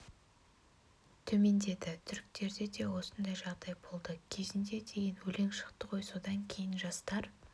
төмендеді түріктерде де осындай жағдай болды кезінде деген өлең шықты ғой содан кейін жастар